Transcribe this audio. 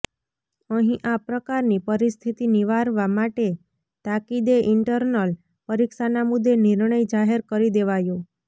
અહીં આ પ્રકારની પરિસ્થિતિ નિવારવા માટે તાકીદે ઇન્ટરનલ પરીક્ષાના મુદ્દે નિર્ણય જાહેર કરી દેવાયો